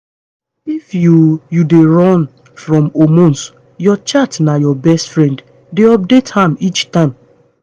if you you dey run from hormone your chart na your best friend. dey update am each time